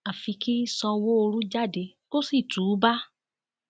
àfi kí sanwóoru jáde kó sì túúbá